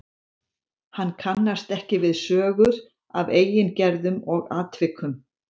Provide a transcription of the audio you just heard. Hann kannast ekki við sögur af eigin gerðum og atvikum.